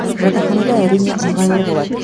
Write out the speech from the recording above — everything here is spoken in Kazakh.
жатақханада әрине ыңғайлы болады